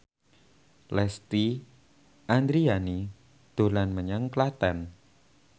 Lesti Andryani dolan menyang Klaten